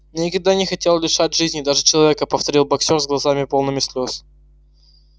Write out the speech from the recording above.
я никогда не хотел лишать жизни даже человека повторил боксёр с глазами полными слез